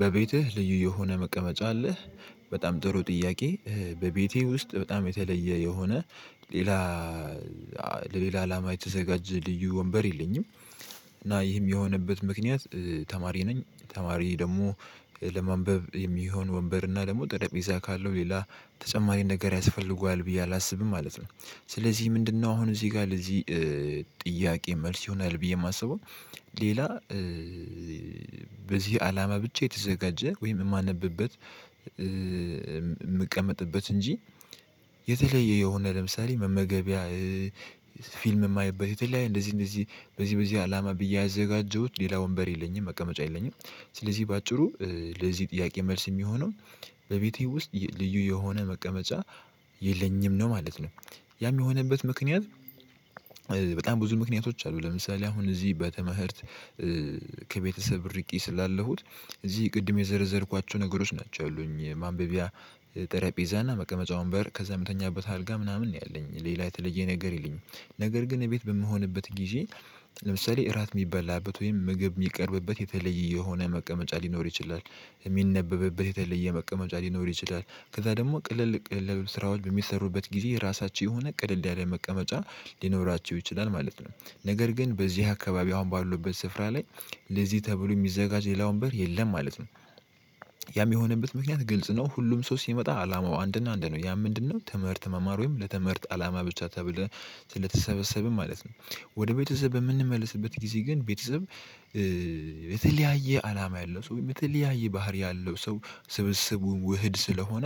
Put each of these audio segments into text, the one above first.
በቤትህ ልዩ የሆነ መቀመጫ አለህ? በጣም ጥሩ ጥያቄ። በቤቴ ውስጥ በጣም የተለየ የሆነ ሌላ ለሌላ አላማ የተዘጋጀ ልዩ ወንበር የለኝም። እና ይህም የሆነበት ምክንያት። ተማሪ ነኝ ተማሪ ደግሞ ለማንበብ የሚሆን ወንበር እና ደግሞ ጠረጴዛ ካለው ሌላ ተጨማሪ ነገር ያስፈልገዋል ብዬ አላስብም ማለት ነው። ስለዚህ ምንድነው? አሁን እዚህ ጋር ለዚህ ጥያቄ መልስ ይሆናል ብዬ የማስበው። ሌላ በዚህ አላማ ብቻ የተዘጋጀ ወይም የማነብበት። የምቀመጥበት እንጂ የተለየ የሆነ ለምሳሌ መመገቢያ ፊልም የማየበት የተለያየ እንደዚህ እንደዚህ በዚህ በዚህ አላማ ብዬ ያዘጋጀሁት ሌላ ወንበር የለኝም። መቀመጫ የለኝም። ስለዚህ በአጭሩ ለዚህ ጥያቄ መልስ የሚሆነው በቤቴ ውስጥ ልዩ የሆነ መቀመጫ የለኝም ነው ማለት ነው። ያም የሆነበት ምክንያት። በጣም ብዙ ምክንያቶች አሉ ለምሳሌ አሁን እዚህ በተመህርት ከቤተሰብ ርቄ ስላለሁኝ እዚህ ቅድም የዘረዘርኳቸው ነገሮች ናቸው ያሉኝ ማንበቢያ። ጠረጴዛና መቀመጫ ወንበር ከዛ የምተኛበት አልጋ ምናምን ነው ያለኝ ሌላ የተለየ ነገር ይልኝ። ነገር ግን ቤት በምሆንበት ጊዜ። ለምሳሌ እራት የሚበላበት ወይም ምግብ የሚቀርብበት የተለየ የሆነ መቀመጫ ሊኖር ይችላል። የሚነበብበት የተለየ መቀመጫ ሊኖር ይችላል ከዛ ደግሞ ቅልል ቅልል ያሉ ስራዎች በሚሰሩበት ጊዜ የራሳቸው የሆነ ቅልል ያለ መቀመጫ ሊኖራቸው ይችላል ማለት ነው። ነገር ግን በዚህ አካባቢ አሁን ባሉበት ስፍራ ላይ ለዚህ ተብሎ የሚዘጋጅ ሌላ ወንበር የለም ማለት ነው። ያ የሚሆንበት ምክንያት ግልጽ ነው። ሁሉም ሰው ሲመጣ አላማው አንድና አንድ ነው። ያ ምንድነው? ትምህርት መማር ወይም ለተምህርት አላማ ብቻ ተብለህ ስለተሰበሰብን ማለት ነው። ወደ ቤተሰብ በምንመለስበት ጊዜ ግን ቤተሰብ የተለያየ አላማ ያለው ሰው የተለያየ ባህሪ ያለው ሰው ስብስቡን ውህድ ስለሆነ።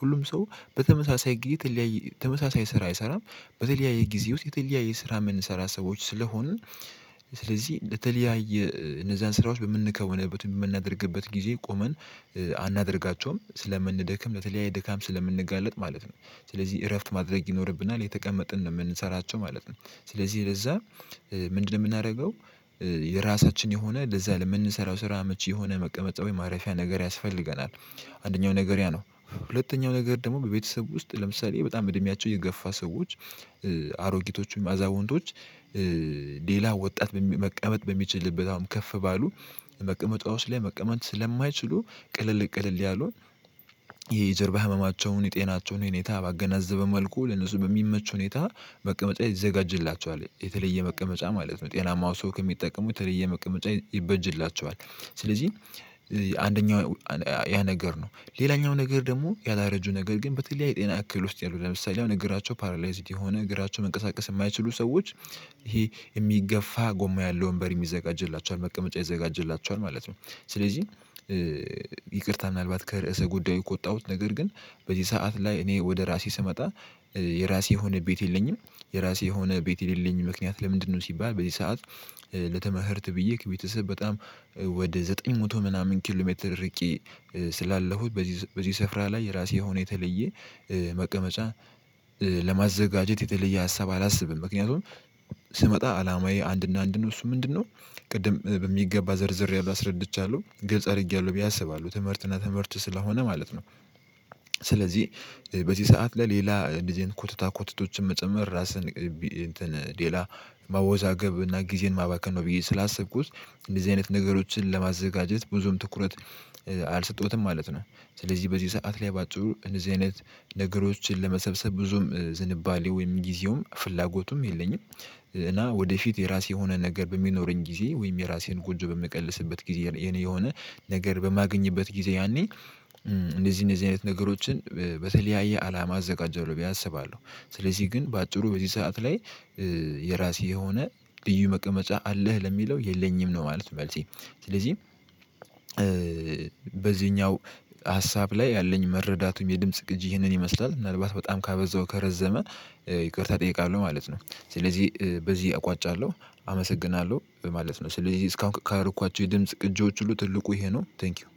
ሁሉም ሰው በተመሳሳይ ግይት የተለያየ ተመሳሳይ ስራ አይሰራም። በተለያየ ጊዜ ውስጥ የተለያየ ስራ የምንሰራ ሰዎች ስለሆንን። ስለዚህ ለተለያየ እነዛን ስራዎች በምንከውንበት ወይም በምናደርግበት ጊዜ ቆመን አናደርጋቸውም ስለምንደክም ለተለያየ ድካም ስለምንጋለጥ ማለት ነው። ስለዚህ እረፍት ማድረግ ይኖርብናል እየተቀመጥን ነው የምንሰራቸው ማለት ነው። ስለዚህ ለዛ ምንድነው የምናደርገው? የራሳችን የሆነ ለዛ ለምንሰራው ስራ አመቼ የሆነ መቀመጫ ወይም ማረፊያ ነገር ያስፈልገናል። አንደኛው ነገር ያ ነው ሁለተኛው ነገር ደግሞ በቤተሰብ ውስጥ ለምሳሌ በጣም እድሜያቸው የገፋ ሰዎች። አሮጊቶች ማዛወንቶች ሌላ ወጣት መቀመጥ በሚችልበት አሁን ከፍ ባሉ መቀመጫወች ላይ መቀመጥ ስለማይችሉ ቅልል ቅልል ያሉ የጀርባ ህመማቸውን የጤናቸውን ሁኔታ ባገናዘበ መልኩ ለነሱ በሚመች ሁኔታ። መቀመጫ ይዘጋጅላቸዋል የተለየ መቀመጫ ማለት ነው ጤናማው ሰው ከሚጠቀመው የተለየ መቀመጫ ይበጅላቸዋል። ስለዚህ አንደኛው ያ ነገር ነው ሌላኛው ነገር ደግሞ ያላረጁ ነገር ግን በተለይ ጤና አክል ውስጥ ያሉት ለምሳሌ እግራቸው ፓራላይዝድ የሆነ እግራቸው መንቀሳቀስ የማይችሉ ሰዎች ይሄ የሚገፋ ጎማ ያለው ወንበር የሚዘጋጅላቸው መቀመጫ ይዘጋጅላቸዋል ማለት ነው። ስለዚህ ይቅርታ ምናልባት ከርዕሰ ጉዳይ ከወጣው ነገር ግን። በዚህ ሰዓት ላይ እኔ ወደ ራሴ ስመጣ የራሴ የሆነ ቤት የለኝም። የራሴ የሆነ ቤት የሌለኝ ምክንያት ለምንድነው? ሲባል በዚህ ሰዓት ለተመህርት ብዬ ከቤተሰብ በጣም ወደ ዘጠኝ መቶ ምናምን ኪሎ ሜትር ርቂ ስላለሁት በዚህ በዚህ ስፍራ ላይ የራሴ ሆኖ የተለየ መቀመጫ ለማዘጋጀት የተለየ ሀሳብ አላስብም ምክንያቱም። ስመጣ አላማዬ አንድና አንድ ነው። እሱ ምንድነው? ቅድም በሚገባ ዘርዝሬያለሁ አስረድቻለሁ ግልጽ አድርጌያለሁ ብዬ አስባለሁ ትምህርትና ትምህርት ስለሆነ ማለት ነው። ስለዚህ በዚህ ሰዓትላይ ሌላ እንደዚህ አይነት ኮትታ ኮትቶችን መጨመር ራስን እንትን ማወዛገብ እና ጊዜን ማባከን ነው ብዬ ስላሰብኩት እንደዚህ አይነት ነገሮችን ለማዘጋጀት ብዙም ትኩረት አልሰጠሁትም ማለት ነው። ስለዚህ በዚህ ሰዓት ላይ ባጭሩ እንደዚህ አይነት ነገሮችን ለመሰብሰብ ብዙም ዝንባሌ ወይም ጊዜውም ፍላጎቱም የለኝም። እና ወደፊት የራሴ የሆነ ነገር በሚኖረኝ ጊዜ ወይም የራሴን ጎንጆ በምቀልስበት ጊዜ የኔ የሆነ ነገር በማገኝበት ጊዜ ያኔ እንደዚህ እንደዚህ አይነት ነገሮችን በተለያየ አላማ አዘጋጀዋለሁ ብዬ አስባለሁ። ስለዚህ ግን በአጭሩ በዚህ ሰዓት ላይ የራሴ የሆነ ልዩ መቀመጫ አለህ ለሚለው የለኝም ነው ማለት ነው። መልሲ ስለዚህ በዚህኛው ሀሳብ ላይ ያለኝ መረዳቱም የድምጽ ቅጂ ይህንን ይመስላል ምናልባት በጣም ካበዛው ከረዘመ ይቅርታ እጠይቃለሁ ማለት ነው። ስለዚህ በዚህ አቋጫለሁ አመሰግናለሁ ማለት ነው። ስለዚህ እስካሁን ካረኳቸው የድምጽ ቅጂወች ሁሉ ትልቁ ይሄ ነው። ታንኪው